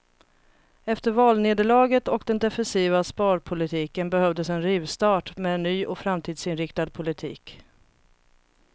Efter valnederlaget och den defensiva sparpolitiken behövdes en rivstart med en ny och framtidsinriktad politik.